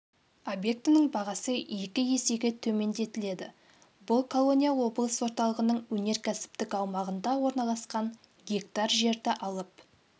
объектінің бағасы екі есеге төмендетіледі бұл колония облыс орталығының өнеркәсіптік аумағында орналасқан гектар жерді алып